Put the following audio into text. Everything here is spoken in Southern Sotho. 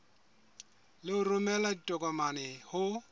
le ho romela ditokomane ho